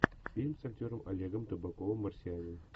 фильм с актером олегом табаковым марсианин